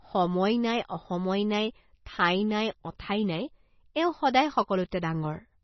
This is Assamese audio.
সময় নাই, অসময় নাই, ঠাই নাই, অঠাই নাই, এওঁ সদাই সকলোতে ডাঙ্গৰ।